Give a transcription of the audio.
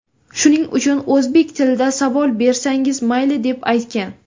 Shuning uchun o‘zbek tilida savol bersangiz, mayli”, deb aytgan.